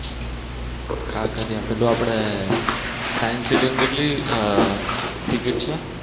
કાંકરિયા પેલે આપડે સાયન્સ સીટીમાં કેટલી ટીકીટ છે?